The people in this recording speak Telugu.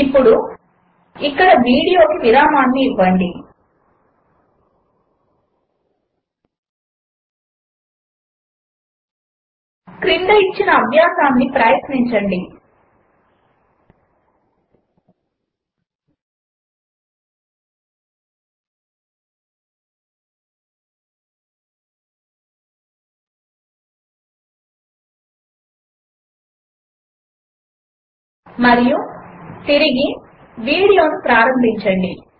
ఇప్పుడు ఇక్కడ వీడియోకు విరామము ఇవ్వండి ఈ క్రింది అభ్యాసమును ప్రయత్నించండి మరియు తిరిగి వీడియోను ప్రారంభించండి